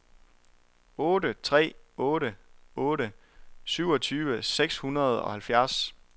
otte tre otte otte syvogtyve seks hundrede og halvfjerds